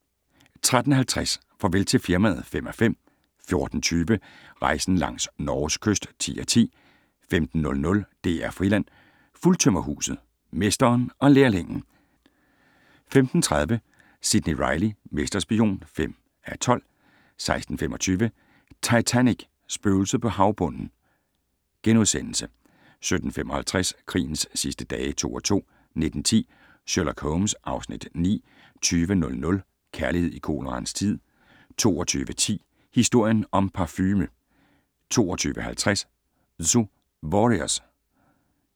13:50: Farvel til firmaet (5:5) 14:20: Rejsen langs Norges kyst (10:10) 15:00: DR Friland: Fuldtømmerhuset - mesteren og lærlingen 15:30: Sidney Reilly - mesterspion (5:12) 16:25: Titanic - Spøgelset på havbunden * 17:55: Krigens sidste dage (2:2) 19:10: Sherlock Holmes (Afs. 9) 20:00: Kærlighed i koleraens tid 22:10: Historien om parfume 22:50: Zu Warriors